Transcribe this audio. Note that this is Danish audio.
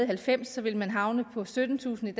halvfems ville man havne på syttentusind